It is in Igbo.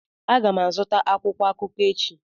Aga m azụta akwụkwọ akụkọ echi.